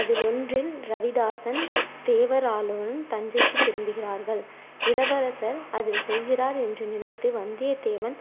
அதிலொன்றில் ரவிதாசன், தேவரானும் தஞ்சைக்கு திரும்புகிறார்கள். இளவரசர் அதில் செல்கிறார் என்று நினைத்து வந்தியத்தேவன்